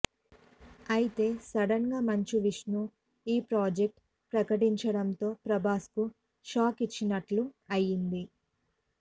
అయితే సడన్ గా మంచు విష్ణు ఈ ప్రాజెక్ట్ ప్రకటించడంతో ప్రభాస్ కు షాక్ ఇచ్చినట్లు అయింది